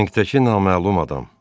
Məntəki naməlum adam.